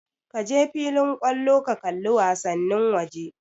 Kaje filin kallo ka kalli wasannin waje